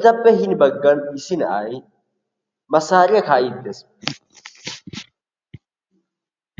etappe hini baggan issi na'ay masaariyaa kaa"idi de'ees.